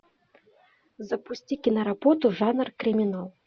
запусти киноработу жанр криминал